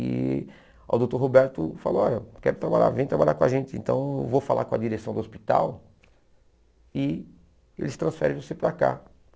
E o Doutor Roberto falou, olha, quero trabalhar, vem trabalhar com a gente, então vou falar com a direção do hospital e eles transferem você para cá.